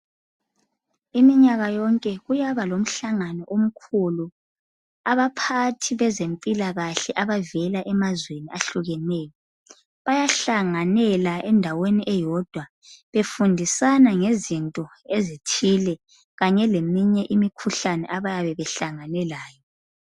iminyaka yonke kuyaba lomhlangano omkhulu abaphathi bezempilakahle abavela emazweni ahlukeneyo bayahlanganela endaweni eyodwa befundisana ngezinto ezithile kanye leminye imikhuhlane abayabe behlangane layo